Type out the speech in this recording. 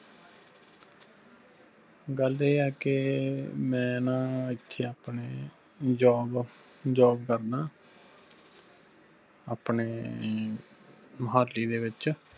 ਗੱਲ ਇਹ ਆ ਕੇ ਮੈਂ ਨਾ ਏਥੇ ਆਪਣੇ job job ਕਰਦਾ ਆਪਣੇ ਮੁਹਾਲੀ ਦੇ ਵਿਚ